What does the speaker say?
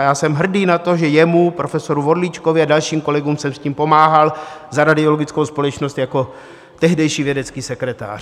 A já jsem hrdý na to, že jemu, profesoru Vorlíčkovi a dalším kolegům jsem s tím pomáhal za radiologickou společnost jako tehdejší vědecký sekretář.